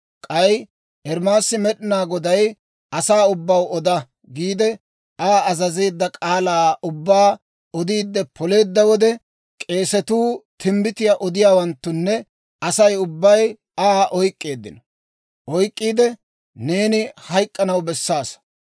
K'ay Ermaasi Med'inaa Goday, «Asaa ubbaw oda» giide Aa azazeedda k'aalaa ubbaa odiide poleedda wode, k'eesatuu, timbbitiyaa odiyaawanttunne Asay ubbay Aa oyk'k'eeddino. Oyk'k'iide, «Neeni hayk'k'anaw bessaasa!